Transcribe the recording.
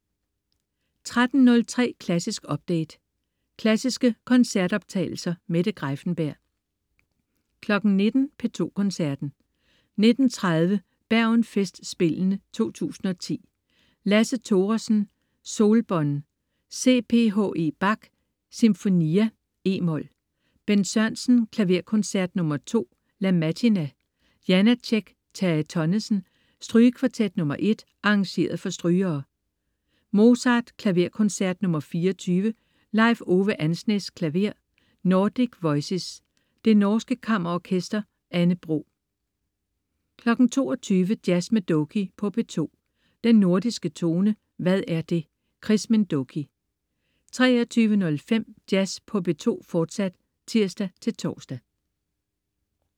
13.03 Klassisk update. Klassiske koncertoptagelser. Mette Greiffenberg 19.00 P2 Koncerten. 19.30 Bergen Festspillene 2010. Lasse Thoresen: Solbonn. C.Ph.E. Bach: Sinfonia, e-mol. Bent Sørensen: Klaverkoncert nr. 2, La Mattina. Janácek/Terje Tonnesen: Strygekvartet nr. 1, arr. for strygere. Mozart: Klaverkoncert nr. 24. Leif Ove Andsnes, klaver. Nordic Voices. Det norske Kammerorkester. Anne Bro 22.00 Jazz med Doky på P2. Den Nordiske Tone. Hvad er det? Chris Minh Doky 23.05 Jazz på P2, fortsat (tirs-tors)